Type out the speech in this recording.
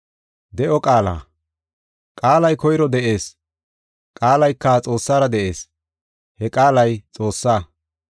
Qaalay koyro de7ees. Qaalayka Xoossara de7ees; he Qaalay Xoossaa.